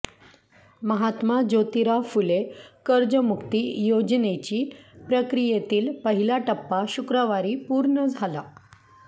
महात्मा जोतीराव फुले कर्जमुक्ती योजनेची प्रक्रियेतील पहिला टप्पा शुक्रवारी पूर्ण झाला